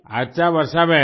अच्छा वर्षाबेन